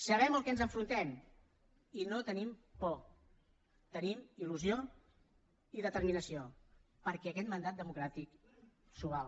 sabem al que ens enfrontem i no tenim por tenim il·lusió i determinació perquè aquest mandat democràtic s’ho val